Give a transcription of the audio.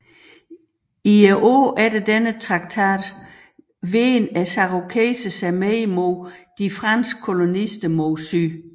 I årene efter denne traktat vendte cherokeserne sig mere mod de franske kolonister mod syd